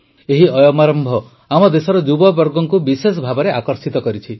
ଏହି ଅୟମାରମ୍ଭ ଆମ ଦେଶର ଯୁବବର୍ଗଙ୍କୁ ବିଶେଷଭାବେ ଆକର୍ଷିତ କରିିଛି